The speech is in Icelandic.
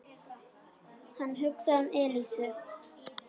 Hann hugsaði um Elísu.